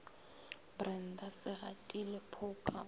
brenda se gatile phoka o